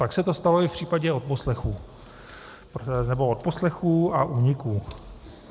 Tak se to stalo i v případě odposlechů, nebo odposlechů a úniků.